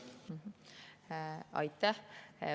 Aitäh!